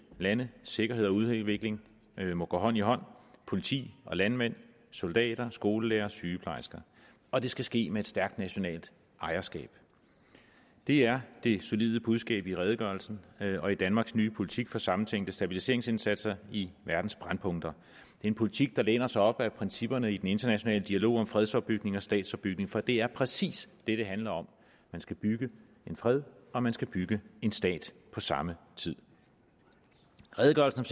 lande sikkerhed og udvikling må gå hånd i hånd politi landmænd soldater skolelærere og sygeplejersker og det skal ske med et stærkt nationalt ejerskab det er det solide budskab i redegørelsen og i danmarks nye politik for sammentænkte stabiliseringsindsatser i verdens brændpunkter det en politik der læner sig op ad principperne i den internationale dialog om fredsopbygning og statsopbygning for det er præcis det det handler om man skal bygge en fred og man skal bygge en stat på samme tid redegørelsen